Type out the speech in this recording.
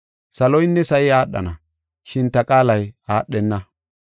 Saloynne sa7i aadhana, shin ta qaalay aadhenna.